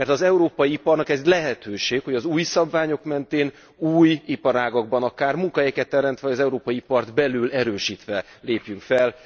Mert az európai iparnak ez lehetőség, hogy az új szabványok mentén új iparágakban akár munkahelyeket teremtve az európai ipart belül erősítve lépjünk fel.